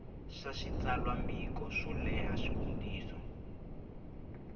swa switsalwambiko swo leha xivutiso